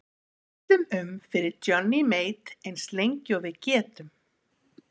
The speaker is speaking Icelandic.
Við villum um fyrir Johnny Mate ins lengi og við getum!